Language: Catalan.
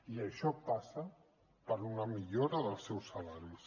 i això passa per una millora dels seus salaris